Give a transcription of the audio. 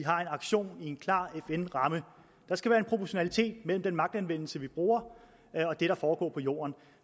aktion i en klar fn ramme der skal være en proportionalitet mellem den magtanvendelse vi bruger og det der foregår på jorden